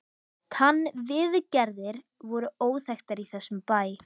TannVIÐGERÐIR voru óþekktar í þessum bæ.